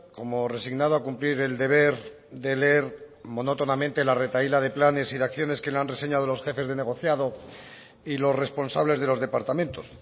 como resignado a cumplir el deber de leer monótonamente la retahíla de planes y de acciones que le han reseñado los jefes de negociado y los responsables de los departamentos